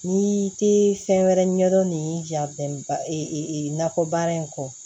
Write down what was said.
N'i te fɛn wɛrɛ ɲɛdɔn ni ja bɛnba nakɔ baara in kɔ